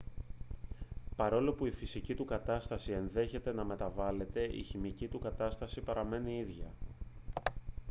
παρόλο που η φυσική του κατάσταση ενδέχεται να μεταβάλλεται η χημική του κατάσταση παραμένει ίδια